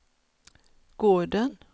gården